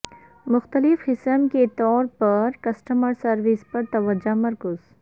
مختلف قسم کے طور پر کسٹمر سروس پر توجہ مرکوز